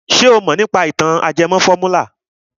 Ṣé o mọ̀ nípa ìtàn ajẹmọ fọ́múlà?